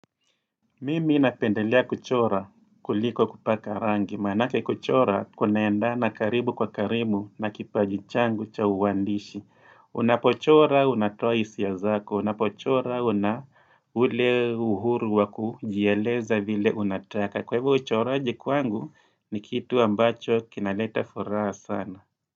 Mimi napendelea kuchora kuliko kupaka rangi, manake kuchora kunaendana karibu kwa karibu na kipaji changu cha uandishi. Unapochora unatoa hisia zako, unapochora una ule uhuru waku jieleza vile unataka. Kwa hivyo uchoraji kwangu ni kitu ambacho kinaleta furaha sana.